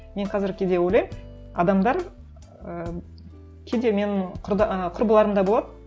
мен қазір кейде ойлаймын адамдар ыыы кейде мен ы құрбыларым да болады